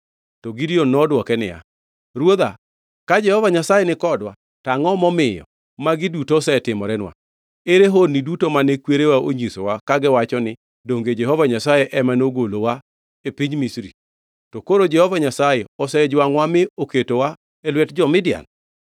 To Gideon nodwoke niya, “Ruodha, ka Jehova Nyasaye nikodwa, to angʼo momiyo magi duto osetimorenwa? Ere honni duto mane kwerewa onyisowa kagiwacho ni, ‘Donge Jehova Nyasaye ema nogolowa e piny Misri?’ To koro Jehova Nyasaye osejwangʼowa mi oketowa e lwet jo-Midian.”